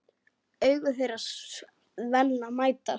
Augu þeirra Svenna mætast.